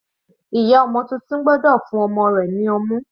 Ìyá ọmọ titun gbọ́dọ̀ fún ọmọ rẹ̀ ní ọmú.